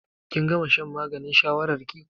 Kin gama shan maganin shawarar ki?